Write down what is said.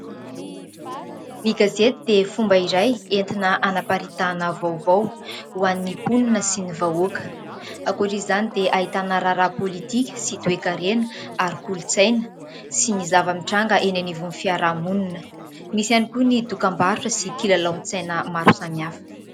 Ny gazety dia fomba iray entina hanaparitahana vaovao ho an'ny mponina sy ny vahoaka. Ankoatra izany dia ahitana raharaha politika sy toe-karena ary kolontsaina sy ny zava-mitranga eny anivon'ny fiaraha-monina. Misy ihany koa ny dokam-barotra sy kilalaon-tsaina maro samihafa.